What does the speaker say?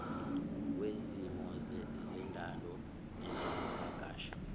wezesimo sendalo nezokuvakasha